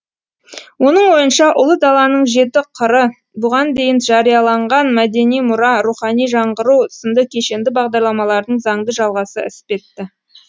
оның ойынша ұлы даланың жеті қыры бұған дейін жарияланған мәдени мұра рухани жаңғыру сынды кешенді бағдарламалардың заңды жалғасы іспетті